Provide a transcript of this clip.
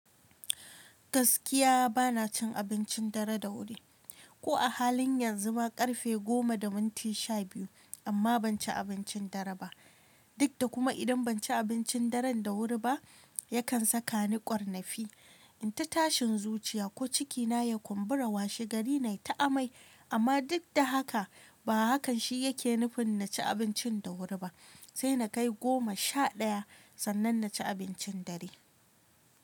Gaskiya bana cin abincin dare da wuri. Ko a halin yanzu ma karfe goma da minti shabiyu amma ban ci abincin dare ba. Duk da kuma idan ban ci abincin daren da wuri ba yakan saka ni ƙornafi. In ta tashin zuciya ko cikina ya kumbura washe gari na yi ta amai amma duk da haka ba hakan shi yake nufin na ci abinci da wuri ba. Sai na kai goma sha daya sannan na ci abincin dare.